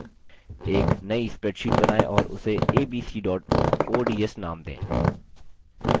एक नई spreadsheet बनाएँ और उसे abc ods name दें